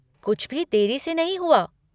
कुछ भी देरी से नहीं हुआ।